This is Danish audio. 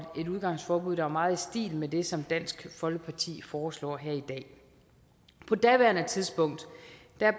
et udgangsforbud der var meget i stil med det som dansk folkeparti foreslår her i dag på daværende tidspunkt